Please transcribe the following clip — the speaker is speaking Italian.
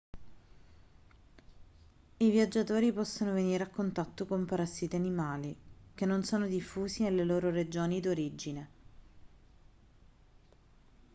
i viaggiatori possono venire a contatto con parassiti animali che non sono diffusi nelle loro regioni d'origine